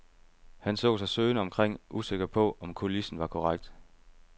Han så sig søgende omkring, usikker på, om kulissen var korrekt.